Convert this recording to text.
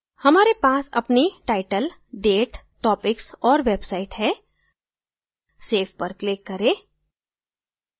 हमारे पास अपनी title date topics और website है save पर click करें